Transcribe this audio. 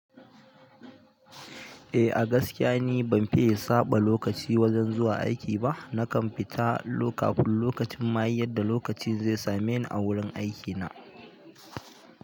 Eh, a gaskiya ni ban fiye saɓa lokaci wajen zuwa aiki ba. Nakan fita kafin lokacin maye yadda lokacin zai same ni a wurin aikina.